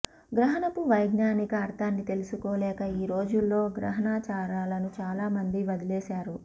గ్రహణపు వైజ్ఞానిక అర్థాన్ని తెలుసుకోలేక ఈ రోజుల్లో గ్రహణాచారాలను చాలామంది వదిలేసారు